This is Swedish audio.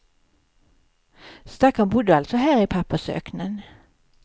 Stackarn bodde alltså här i pappersöknen.